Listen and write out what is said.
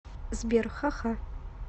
сбер ха ха